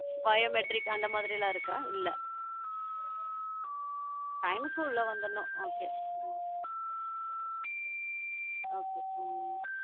Biometric அந்த மாதிரிலாம் இருக்கா? இல்ல time க்கு உள்ள வந்துடனும் okay okay ஹம்